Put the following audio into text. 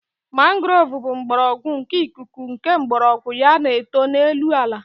Mangrove bụ mgbọrọgwụ nke ikuku nke mgbọrọgwụ ya na-eto n'elu ala